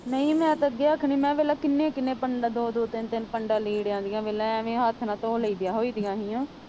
ਨਹੀਂ ਮੈਂ ਤਾਂ ਅੱਗੇ ਆਖਣਡੀ ਮੈਂ ਪਹਿਲਾਂ ਕਿੰਨੇ ਕਿੰਨੇ ਪੰਡਾਂ ਦੋ ਦੋ ਤਿੰਨ ਤਿੰਨ ਪੰਡਾਂ ਲੀੜਿਆਂ ਦੀਆਂ ਵੇਖ ਲਾ ਐਵੇਂ ਹੱਥ ਨਾਲ ਧੋ ਲਈਦੀਆਂ ਹੋਈਦੀਆਂ ਸੀਗੀਆਂ।